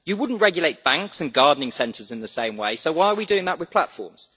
You would not regulate banks and gardening centres in the same way, so why are we doing that with platforms?